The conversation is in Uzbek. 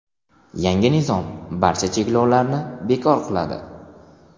Yangi nizom barcha cheklovlarni bekor qiladi.